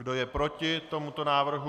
Kdo je proti tomuto návrhu?